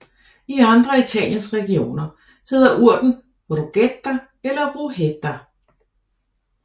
I andre af Italiens regioner hedder urten ruchetta eller rughetta